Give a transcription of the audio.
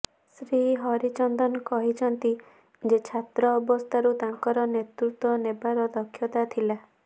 ଶ୍ରୀ ହରିଚନ୍ଦନ କହିଛନ୍ତି ଯେ ଛାତ୍ର ଅବସ୍ଥାରୁ ତାଙ୍କର ନେତୃତ୍ୱ ନେବାର ଦକ୍ଷତା ଥିଲା